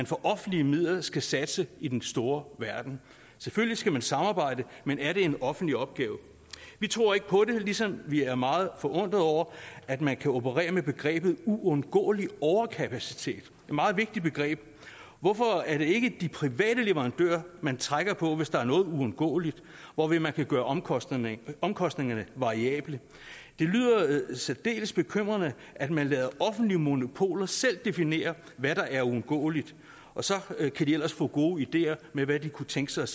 for offentlige midler skal satse i den store verden selvfølgelig skal man samarbejde men er det en offentlig opgave vi tror ikke på det ligesom vi er meget forundret over at man kan operere med begrebet uundgåelig overkapacitet et meget vigtigt begreb hvorfor er det ikke de private leverandører man trækker på hvis der er noget uundgåeligt hvorved man kan gøre omkostningerne omkostningerne variable det lyder særdeles bekymrende at man lader offentlige monopoler selv definere hvad der er uundgåeligt og så kan de ellers få gode ideer med hvad de kunne tænke sig